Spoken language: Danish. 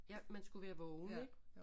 Ja man skulle være vågen ik